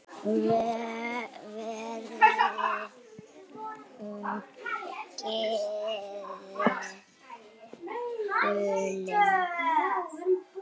Verði hún Guði falin.